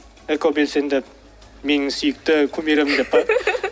экобелсенді менің сүйікті кумирім деп қояйық